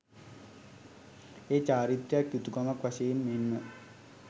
එය චාරිත්‍රයක්, යුතුකමක් වශයෙන් මෙන්ම